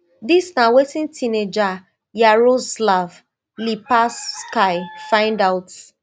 dis na wetin teenager yaroslav lipavsky find out